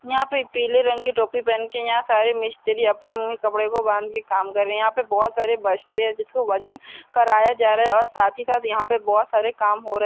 यहाँ पे पीले रंग की टोपी पहन के यहाँ सारे मिस्त्री अपने मुंह मे कपड़े को बांध के काम कर रहे यहाँ पे बहोत सारे बस्ते है जिनका वजन कराया जा रहा है और साथ ही साथ यहाँ पे बहोत सारे काम हो रहे।